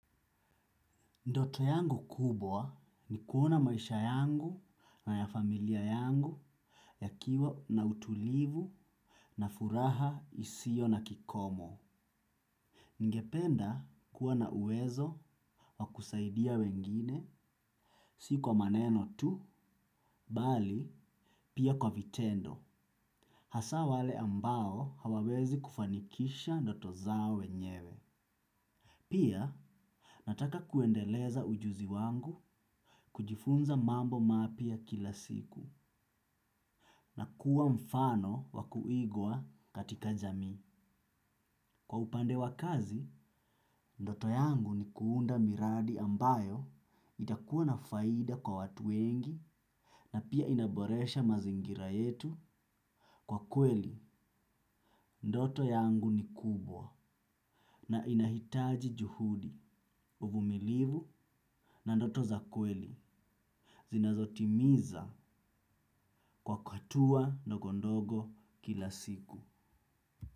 Ndoto yangu kubwa ni kuona maisha yangu na ya familia yangu yakiwa na utulivu na furaha isiyo na kikomo. Ningependa kuwa na uwezo wa kusaidia wengine si kwa maneno tu, bali pia kwa vitendo. Hasa wale ambao hawawezi kufanikisha ndoto zao wenyewe. Pia nataka kuendeleza ujuzi wangu kujifunza mambo mapya kila siku. Na kuwa mfano wakuigwa katika jamii. Kwa upande wa kazi, ndoto yangu ni kuunda miradi ambayo itakuwa na faida kwa watu wengi na pia inaboresha mazingira yetu. Kwa kweli, ndoto yangu ni kubwa na inahitaji juhudi, uvumilivu na ndoto za kweli. Zinazotimiza kwa kwa hatua na ndogondogo kila siku.